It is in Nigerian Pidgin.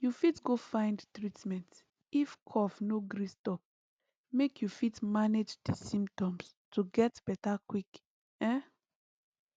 you fit go find treatment if cough no gree stop make you fit manage di symptoms to get beta quick um